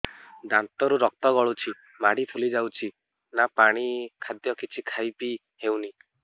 ଦାନ୍ତ ରୁ ରକ୍ତ ଗଳୁଛି ମାଢି ଫୁଲି ଯାଉଛି ନା ପାଣି ନା ଖାଦ୍ୟ କିଛି ଖାଇ ପିଇ ହେଉନି